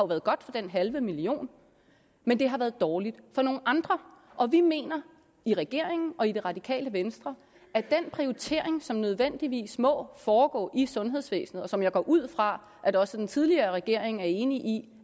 været godt for den halve million men det har været dårligt for nogle andre og vi mener i regeringen og i det radikale venstre at den prioritering som nødvendigvis må foregå i sundhedsvæsenet og som jeg går ud fra at også den tidligere regering er enig i